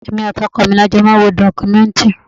Èmi àti ọkọ mi la jọ máa ń wo documentary.